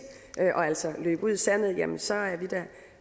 og altså løbe ud i sandet jamen så